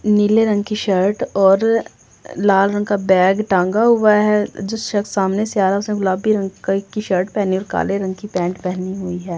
नीले रंग की शर्ट और लाल रंग का बैग टंगा हुआ है जिस शख्स सामनेसे आ रहा उसने गुलाबी रंग शर्ट और काले रंग का पैंट पहने हुए है ।